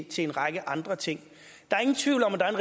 til en række andre ting der er ingen tvivl om at der er